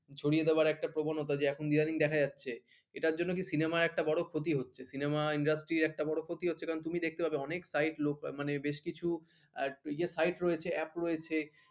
ছড়িয়ে দেবার যে একটা, প্রবণতা যে এখন ইদানিং দেখা যাচ্ছে এটার জন্য কি cinema একটা বড় ক্ষতি হচ্ছে cinema industry একটা বড় ক্ষতি হচ্ছে কারণ তুমি দেখতে পাবে অনেক site লোক বেশ কিছু site রয়েছে app রয়েছে